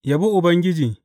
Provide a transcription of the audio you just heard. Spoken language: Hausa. Yabi Ubangiji.